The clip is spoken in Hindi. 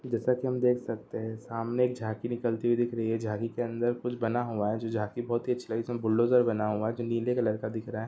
जैसा की हम देख सकते हैं सामने एक झांकी निकलती हुई दिख रही है झांकी के अंदर कुछ बना हुआ है जो झांकी बहोत ही अच्छी लगी जिसमें बुलडोज़र बना हुआ है जो नीले कलर का दिख रहा है।